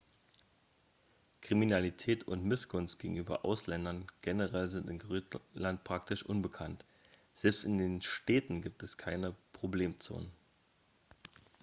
kriminalität und missgunst gegenüber ausländern generell sind in grönland praktisch unbekannt selbst in den städten gibt es keine problemzonen